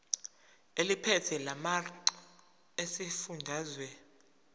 eliphethe lamarcl esifundazwe